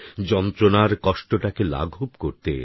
যন্ত্রণার কষ্টটাকে লাঘব করতে